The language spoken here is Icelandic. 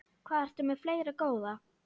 Hvað ertu með fleira, góða?